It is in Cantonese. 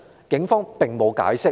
警方並沒有解釋。